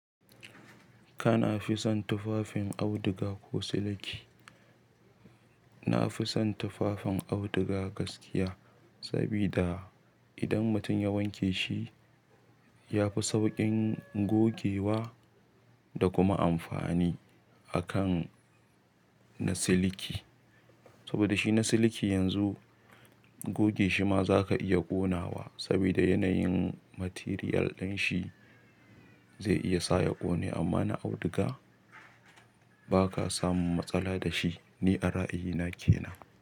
Kana fi son tufafin auduga ko siliki? Nafi son tufafin auduga gaskiya, sabida idan mutum ya wanke shi yafi sauƙin gogewa da kuma amfani akan na siliki, saboda shi na siliki yanzu goge shi ma za ka iya ƙonawa, sabida yanayin material ɗin shi zai iya sa ya ƙone, amma na auduga ba ka samun matsala da shi. Ni a ra'ayina kenan.